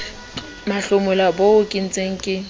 mahlomola boo ke ntseng ke